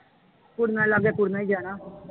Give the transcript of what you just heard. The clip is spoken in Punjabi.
ਕੁੜੀਆਂ ਲਾਗੇ ਤਾਂ ਉਹਨੇ ਹੀ ਜਾਣਾ।